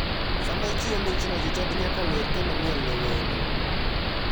Sama ichiwo michno jochadi nyaka wer kendo miel ne wendo.